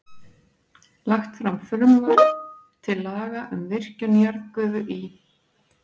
Lagt fram frumvarp til laga um virkjun jarðgufu í